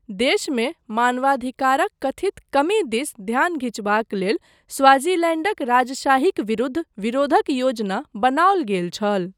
देशमे मानवाधिकारक कथित कमी दिस ध्यान घिचबाक लेल स्वाज़ीलैंडक राजशाहीक विरूद्ध विरोधक योजना बनाओल गेल छल।